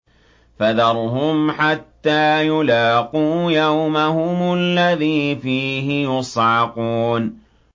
فَذَرْهُمْ حَتَّىٰ يُلَاقُوا يَوْمَهُمُ الَّذِي فِيهِ يُصْعَقُونَ